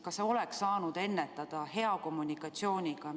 Kas seda oleks saanud ennetada hea kommunikatsiooniga?